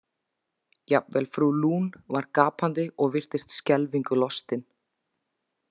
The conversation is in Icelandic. Jafnvel frú Lune var gapandi og virtist skelfingu lostin.